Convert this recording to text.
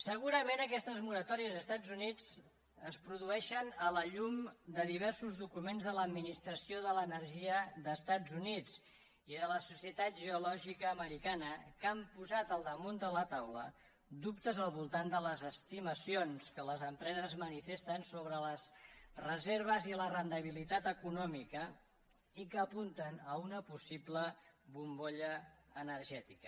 segurament aquestes moratòries als estats units es produeixen a la llum de diversos documents de l’administració de l’energia dels estats units i de la societat geològica americana que han posat al damunt de la taula dubtes al voltant de les estimacions que les empreses manifesten sobre les reserves i la rendibilitat econòmica i que apunten a una possible bombolla energètica